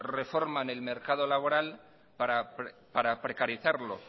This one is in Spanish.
reforman el mercado laboral para precarizarlo